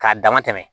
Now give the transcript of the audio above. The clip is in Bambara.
K'a dama tɛmɛ